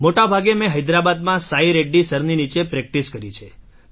મોટાભાગે મેં હૈદરાબાદમાં સાઈ રેડ્ડી સરની નીચે પ્રેક્ટિસ કરી છે